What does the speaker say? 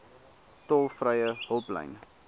tolvrye hulplyn